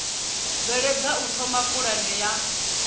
bveledza u thoma pulane ya